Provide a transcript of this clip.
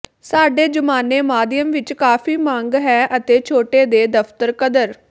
ਸਾਡੇ ਜ਼ਮਾਨੇ ਮਾਧਿਅਮ ਵਿਚ ਕਾਫ਼ੀ ਮੰਗ ਹੈ ਅਤੇ ਛੋਟੇ ਦੇ ਦਫ਼ਤਰ ਕਦਰ